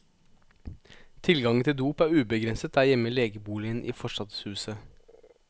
Tilgangen til dop er ubegrenset der hjemme i legeboligen i forstadshuset.